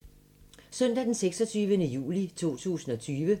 Søndag d. 26. juli 2020